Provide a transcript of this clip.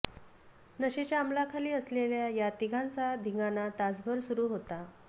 नशेच्या अमलाखाली असलेल्या या तिघांचा धिंगाणा तासभर सुरू होता